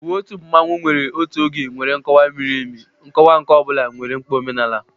Uwe otu mmanwu nwere otu oge nwere nkọwa miri emi, nkọwa nke ọ bụla nwere mkpa omenala.